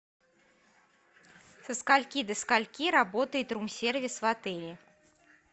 со скольки до скольки работает рум сервис в отеле